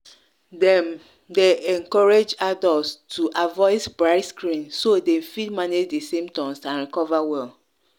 dem dey encourage adults to avoid bright screen so dem fit manage di symptoms and recover well.